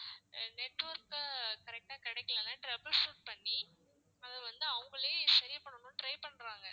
network அ correct ஆ கிடைக்கலன்னா trouble shoot பண்ணி அதை வந்து அவங்களே சரி பண்ணனும்னு try பண்றாங்க